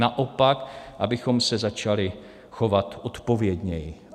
Naopak, abychom se začali chovat odpovědněji.